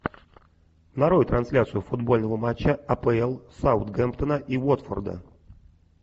нарой трансляцию футбольного матча апл саутгемптона и уотфорда